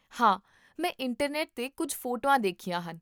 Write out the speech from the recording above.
ਹਾਂ, ਮੈਂ ਇੰਟਰਨੈੱਟ 'ਤੇ ਕੁੱਝ ਫੋਟੋਆਂ ਦੇਖੀਆਂ ਹਨ